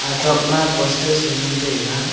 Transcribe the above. atok ama poster chu ngan taiga.